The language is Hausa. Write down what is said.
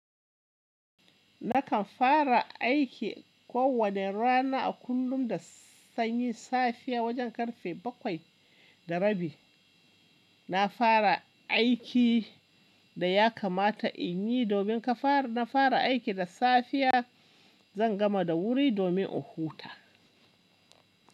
Nakan fara aiki kowane rana a kullum da sanyi safiya wajen karfe bakwai da rabi. Na fara aiki da ya kamata in yi domin ka fara. Na fara aiki da safiya, zan gama da wuri domin in huta.